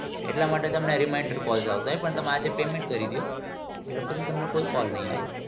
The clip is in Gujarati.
એટલા માટે તમને reminder calls આવશે પણ તમે આજે payment કરી દયો. એટલે તમને કઈ call નહિ આવે.